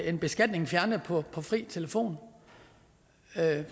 en beskatning fjernet på fri telefon